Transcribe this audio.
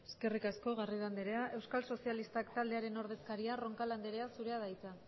eskerrik asko garrido andrea euskal sozialistak taldearen ordezkaria roncal andrea zurea da hitza